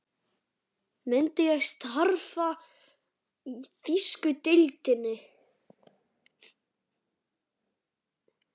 Myndi ég starfa í þýsku deildinni?